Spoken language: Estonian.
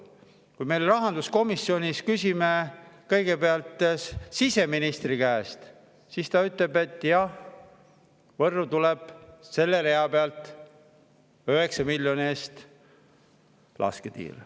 Kui me rahanduskomisjonis küsisime kõigepealt siseministri käest, siis ta ütles, et jah, Võrru tuleb selle rea pealt 9 miljoni eest lasketiir.